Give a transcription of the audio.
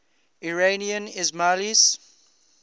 iranian ismailis